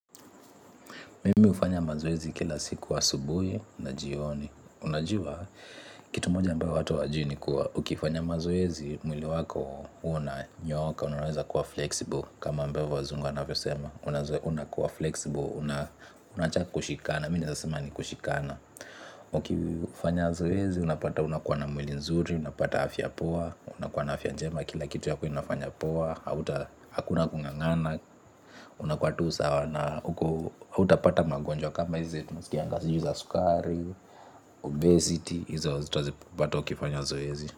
Mimi ufanya mazoezi kila siku asubuhi na jioni. Unajua kitu moja ambayo watu wajui ni kuwa ukifanya mazoezi mwili wako unanyoka. Unaweza kuwa flexible kama ambayo wazungu wanavyo sema. Una kuwa flexible, unaacha kushikana, mi neeza sema ni kushikana. Ukifanya mazoezi unapata unakuwa na mwili nzuri. Unapata afya poa, unakuwa na afya njema. Kila kitu yako inafanya poa, hauta hakuna kungangana unakuwa tu sawa na hautapata magonjwa kama hizi tunasikianga sijui za sukari, obesity, hizi hazitazipata ukifanya zoezi.